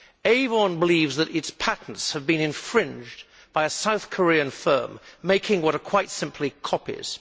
Avon believes that its patents have been infringed by a South Korean firm making what are quite simply copies.